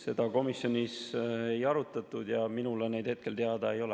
Seda komisjonis ei arutatud ja minule neid juhtumeid hetkel teada ei ole.